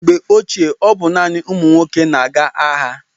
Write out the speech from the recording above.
Mgbe ochie, ọ bụ naanị ụmụ nwoke na-aga agha.